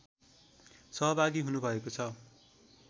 सहभागी हुनुभएको छ